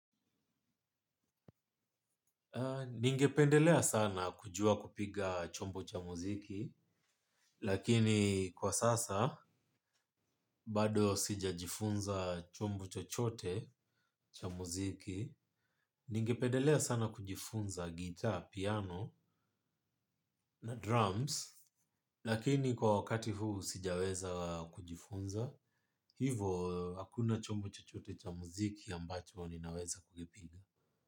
Ningependelea sana kujua kupiga chombo cha muziki, lakini kwa sasa, bado sija jifunza chombo chochote cha muziki. Ningependelea sana kujifunza gitaa, piano nadrums lakini kwa wakati huu sijaweza kujifunza hivo hakuna chombo chochote za muziki ambacho ninaweza kuipiga.